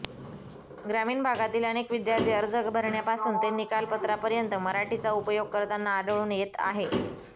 ग्रामीण भागातील अनेक विद्यार्थी अर्ज भरण्यापासून ते निकालपत्रापर्यंत मराठीचा उपयोग करताना आढळून येत आहे